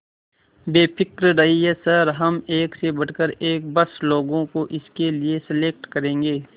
बेफिक्र रहिए सर हम एक से बढ़कर एक बस लोगों को इसके लिए सेलेक्ट करेंगे